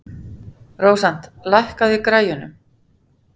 Rósant, lækkaðu í græjunum.